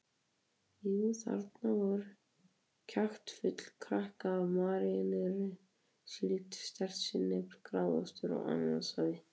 Jú, þarna var kjaftfull krukka af maríneraðri síld, sterkt sinnep, gráðaostur, ananassafi.